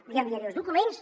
li enviaré els documents